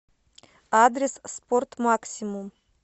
адрес спортмаксимум